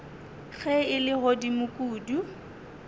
ge e le godimo kudu